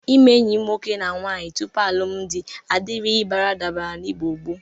Ime enyi nwoke na nwaanyị tupu alụmdị adịrịghị baradabara n'Igbo gboo.